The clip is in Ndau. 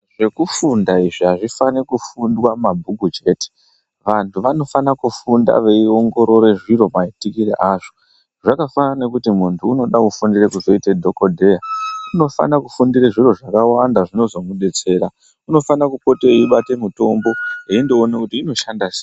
Zvekufundwa izvi azvifani kufundwa mabhuku chete vantu vanofana kufunda veiongirora zviro maitirwo asvo zvakafana nekuti muntu unoda kufundira kuzoita dhokodheya unifana kufundira zviro zvakawanda zvinozomudetsera unofana kupota eibata mutombo eiona inoshanda sei.